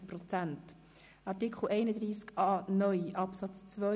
Bei Artikel 31a (neu) Absatz 2